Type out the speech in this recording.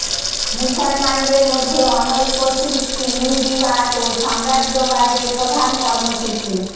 মুসলমানদের মধ্যে অনৈক্য সৃষ্টি ইহুদিবাদ ও সাম্রাজ্যবাদের প্রধান কর্মসূচি